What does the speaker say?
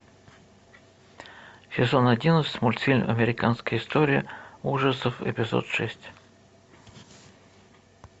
сезон одиннадцать мультфильм американская история ужасов эпизод шесть